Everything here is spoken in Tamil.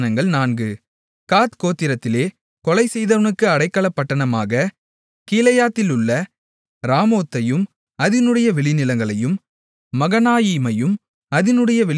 காத் கோத்திரத்திலே கொலை செய்தவனுக்கு அடைக்கலப்பட்டணமாக கீலேயாத்திலுள்ள ராமோத்தையும் அதினுடைய வெளிநிலங்களையும் மகனாயீமையும் அதினுடைய வெளிநிலங்களையும்